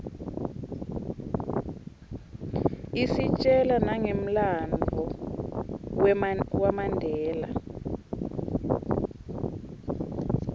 istjela nangemlanduvo wamandela